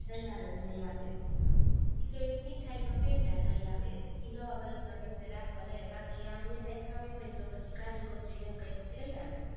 તૈયાર જ લઇ આવીએ મીઠાઈમાં પેંડા લઇ આવે, ઈ નવા વર્ષના દિવસે રાખવા લઇ આવે બાકી આમ મીઠાઈ ખાવી હોય ને તો પછી કાજુ કતરીને એવું કંઈક લઇ આવે